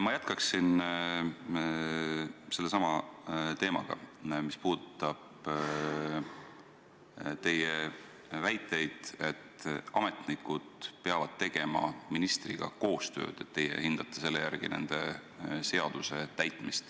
Ma jätkan selle teemaga, mis puudutab teie väiteid, et ametnikud peavad tegema ministriga koostööd ja et teie hindate selle järgi, kui hästi nad seadust täidavad.